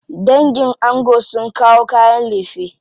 Dangin ango sun kawo kayan lefe.